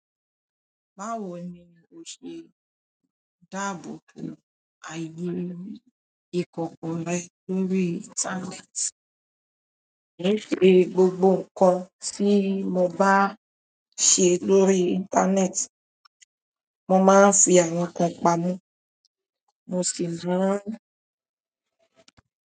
Báwo ni o ṣe ń dáàbò bo àyè ìkọ̀kọ̀ rẹ lórí. Íńtánẹ́ẹ̀tì? Ní ṣe gbogbo nǹkan tí mo bá ṣe lórí íńtánẹ́ẹ̀tì, mo máa ń fi àwọn kan pamọ́, mo sì máa ń.